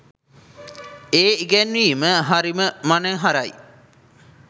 ඒ ඉගැන්වීම හරිම මනහරයි.